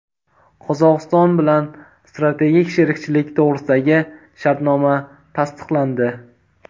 Qozog‘iston bilan strategik sherikchilik to‘g‘risidagi shartnoma tasdiqlandi.